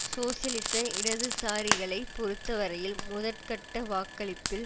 சோசியலிச இடதுசாரிகளை பொறுத்த வரையில் முதற்கட்ட வாக்களிப்பில்